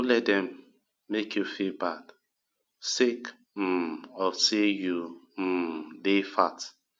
no let dem make you feel bad sake um of sey you um dey fat